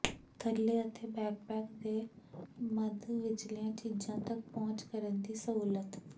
ਥੱਲੇ ਅਤੇ ਬੈਕਪੈਕ ਦੇ ਮੱਧ ਵਿਚਲੀਆਂ ਚੀਜ਼ਾਂ ਤਕ ਪਹੁੰਚ ਕਰਨ ਦੀ ਸਹੂਲਤ